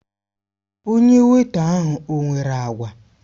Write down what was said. Onye weịta ahụ ọ nwere agwa?